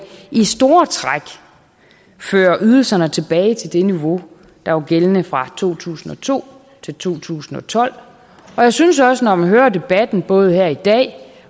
i store træk fører ydelserne tilbage til det niveau der var gældende fra to tusind og to til to tusind og tolv og jeg synes også når man hører debatten både her i dag